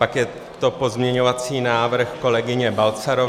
Pak je to pozměňovací návrh kolegyně Balcarové -